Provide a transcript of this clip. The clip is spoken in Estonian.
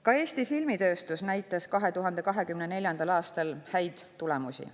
Ka Eesti filmitööstus näitas 2024. aastal häid tulemusi.